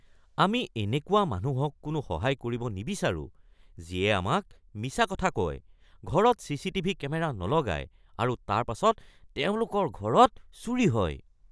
আমি এনেকুৱা মানুহক কোনো সহায় কৰিব নিবিচাৰোঁ যিয়ে আমাক মিছা কথা কয়, ঘৰত চিচিটিভি কেমেৰা নলগায় আৰু তাৰ পাছত তেওঁলোকৰ ঘৰত চুৰি হয়।